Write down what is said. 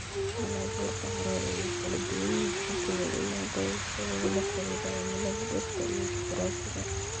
Halabuurka carradu wuu kala duwan yahay gobol ilaa gobol sababo la xiriira cimilada, dhirta, iyo juqraafiga.